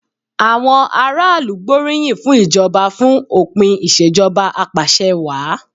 Àwọn aráàlú gbóríyìn fún ìjọba fún òpin ìṣèjọba apàṣẹwàá.